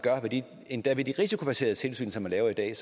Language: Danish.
endda ved de risikobaserede tilsyn som man laver i dag